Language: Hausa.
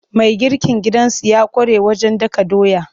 Mai girkin gidansu ya ƙware wajen dakan doya.